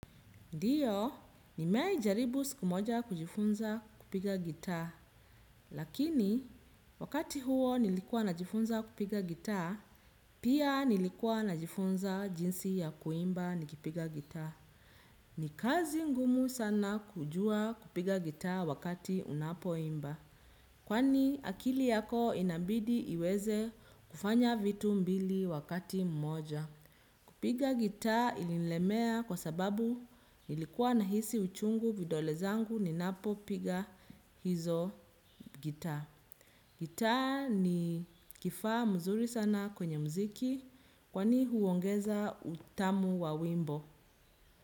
Ndiyo, nimewahi jaribu siku moja kujifunza kupiga gitaa, lakini wakati huo nilikuwa na jifunza kupiga gitaa, pia nilikuwa na jifunza jinsi ya kuimba nikipiga gitaa. Ni kazi ngumu sana kuja kupiga gitaa wakati unapoimba, kwani akili yako inabidi iweze kufanya vitu mbili wakati mmoja. Kupiga gitaa ilinilemea kwa sababu ilikuwa nahisi uchungu vidole zangu ni napo piga hizo gitaa. Gitaa ni kifaa mzuri sana kwenye muziki kwani huongeza utamu wa wimbo.